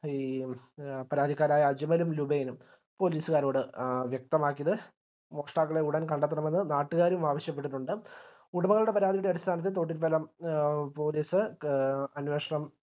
ഈ പരാതിക്കാരായ അജ്‌മലും ലുബൈനും police കാരോട് വ്യക്തമാക്കിയത് മോഷ്ട്ടാക്കളെ ഉടൻ കണ്ടെത്തണമെന്ന് നാട്ടുകാരും ആവശ്യപ്പെട്ടിട്ടുണ്ട് ഉടമകളുടെ പരാതിയുടെ അടിസ്ഥാനത്തിൽ തൊട്ടിൽപ്പാലം police അന്വേഷണം